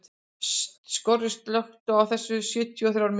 Skorri, slökktu á þessu eftir sjötíu og þrjár mínútur.